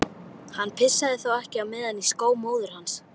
Hann pissaði þá ekki á meðan í skó móður hans.